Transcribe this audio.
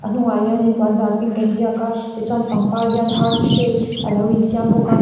ahnungah hianin puan zar pink a inziak a ti chuan pangpar hian heart shape a lo insiam bawk a.